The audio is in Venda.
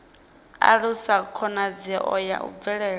alusa khonadzeo ya u bvela